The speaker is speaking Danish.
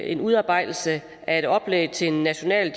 en udarbejdelse af et oplæg til en national